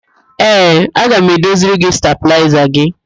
Ee, aga m edoziri gị stabịlaịza gị.